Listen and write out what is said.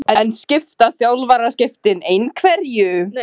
En skipta þjálfaraskiptin einhverju?